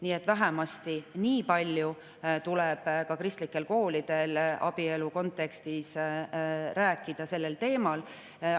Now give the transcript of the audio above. Nii et vähemasti niipalju tuleb ka kristlikel koolidel abielu kontekstis sellel teemal rääkida.